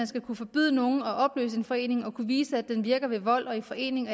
skal påbyde nogen at opløse en forening at kunne vise at den virker ved vold og i forening